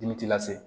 Dimi t'i lase